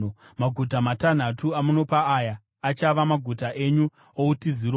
Maguta matanhatu amunopa aya achava maguta enyu outiziro.